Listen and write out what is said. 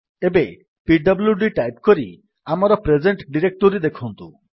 ଏବେ P W D type କରି ଆମର ପ୍ରେଜେଣ୍ଟ୍ ଡିରେକ୍ଟୋରୀ ଦେଖନ୍ତୁ